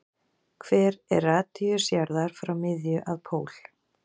Hver er radíus jarðar frá miðju að pól?